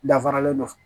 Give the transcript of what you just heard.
Dafaralen don